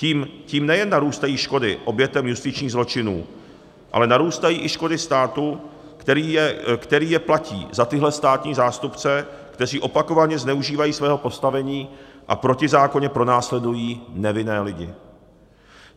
Tím nejen narůstají škody obětem justičních zločinů, ale narůstají i škody státu, který je platí za tyhle státní zástupce, kteří opakovaně zneužívají svého postavení a protizákonně pronásledují nevinné lidi.